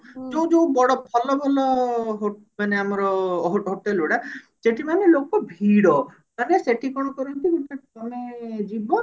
ଯୋଉ ଯୋଉ ଭଲ ବଡ ଭଲ ଭଲ ହୋ ମାନେ ଆମର hotel ଗୁଡା ସେଠି ମାନେ ଲୋକ ଭିଡ ମାନେ ସେଠି କଣ କରନ୍ତି ମାନେ ତମେ ଯିବ